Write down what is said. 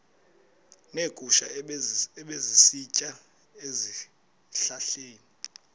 neegusha ebezisitya ezihlahleni